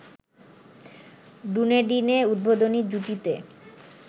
ডুনেডিনে উদ্বোধনী জুটিতে